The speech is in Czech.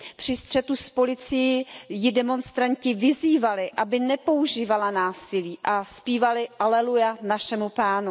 Při střetu s policií ji demonstranti vyzývali, aby nepoužívala násilí a zpívali Aleluja našemu Pánu